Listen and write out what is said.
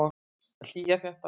Hlýjar hjartarætur.